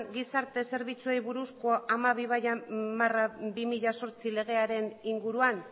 gizarte zerbitzuei buruzko hamabi barra bi mila zortzi legearen inguruan